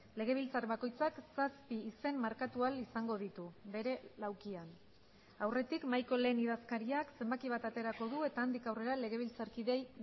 legebiltzar bakoitzak zazpi izen markatu ahal izango ditu bere laukian aurretik mahaiko lehen idazkariak zenbaki bat aterako du eta handik aurrera legebiltzarkideei